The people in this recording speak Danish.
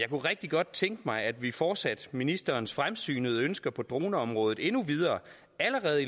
kunne rigtig godt tænke mig at vi fortsatte ministerens fremsynede ønsker på droneområdet endnu videre allerede